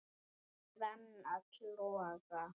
brenn öll loga